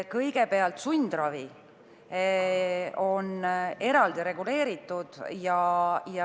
Kõigepealt, sundravi on eraldi reguleeritud.